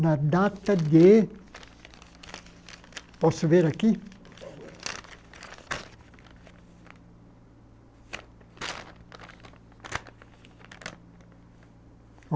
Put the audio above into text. na data de... Posso ver aqui?